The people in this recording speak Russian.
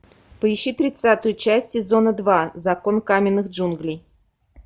поищи тридцатую часть сезона два закон каменных джунглей